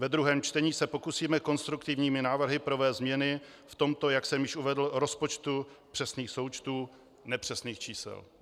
Ve druhém čtení se pokusíme konstruktivními návrhy provést změny v tomto, jak jsem již uvedl, rozpočtu přesných součtů nepřesných čísel.